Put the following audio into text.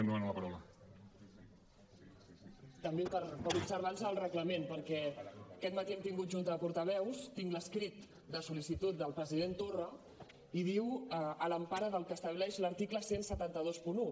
també per observança del reglament perquè aquest matí hem tingut junta de portaveus tinc l’escrit de sol·licitud del president torra i diu a l’empara del que estableix l’article disset vint u